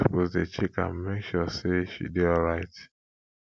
you suppose dey check am make sure sey she dey alright